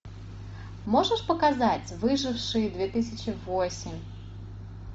можешь показать выжившие две тысячи восемь